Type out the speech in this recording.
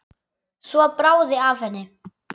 Svo bráði af henni.